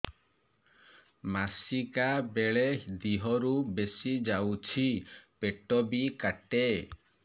ମାସିକା ବେଳେ ଦିହରୁ ବେଶି ଯାଉଛି ପେଟ ବି କାଟେ